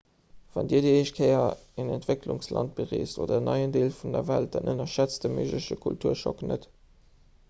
wann dir déi éischt kéier en entwécklungsland bereest oder en neien deel vun der welt dann ënnerschätzt de méigleche kulturschock net